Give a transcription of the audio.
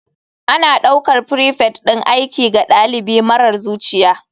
Ana ɗaukar prefect ɗin aiki ga ɗalibi marar zuciya.